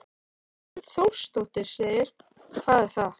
Hrund Þórsdóttir: Hvað er það?